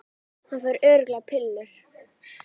Fæ örugglega pillur